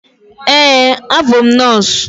Eé, abụ m nọọsụ.